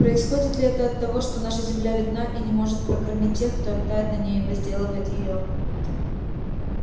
происходит ли это от того что наша земля бедна и не может прокормить тех кто обитает на ней и возделывает её